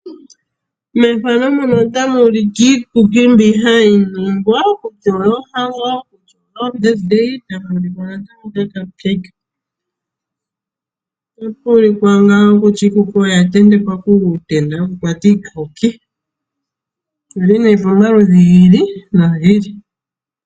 Ethano otali ulike iikuki mbi hayi ningwa okuliwa poohango nenge pomavalo ota pu ulikwa kutya iikuki oya ntentekwa ihe kuutenda wo wo ku kwata iikuki ouili ihe pamaludhi gi ili nogi ili.